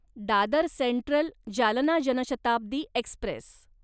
Dadar central Jalna Janshatabdi Express